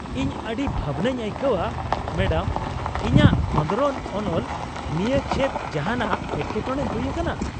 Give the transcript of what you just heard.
ᱤᱧ ᱟᱹᱰᱤ ᱵᱷᱟᱵᱱᱟᱹᱧ ᱟᱹᱭᱠᱟᱹᱣᱼᱟ ᱢᱮᱰᱟᱢ, ᱤᱧᱟᱹᱜ ᱠᱷᱚᱸᱫᱽᱨᱚᱱ ᱚᱱᱚᱞ ᱱᱤᱭᱟᱹ ᱪᱮᱫ ᱡᱟᱦᱟᱸᱱᱟᱜ ᱮᱴᱠᱮᱴᱚᱬᱮ ᱦᱩᱭ ᱟᱠᱟᱱᱟ ?